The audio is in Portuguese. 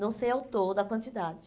Não sei ao todo a quantidade.